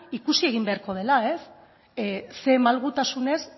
ikusi egin beharko dela ze malgutasunez